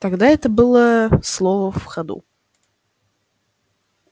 тогда это было слово в ходу